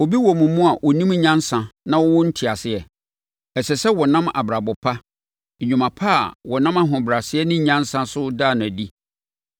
Obi wɔ mo mu a ɔnim nyansa na ɔwɔ nteaseɛ? Ɛsɛ sɛ ɔnam abrabɔ pa, nnwuma pa a wɔnam ahobrɛaseɛ ne nyansa so da no adi.